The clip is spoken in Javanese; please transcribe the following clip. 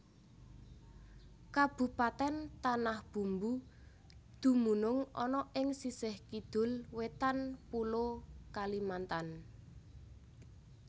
Kabupatèn Tanah Bumbu dumunung ana ing sisih Kidul Wétan Pulo Kalimantan